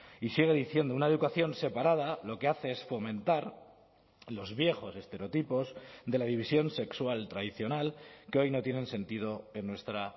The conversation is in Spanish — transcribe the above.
y sigue diciendo una educación separada lo que hace es fomentar los viejos estereotipos de la división sexual tradicional que hoy no tienen sentido en nuestra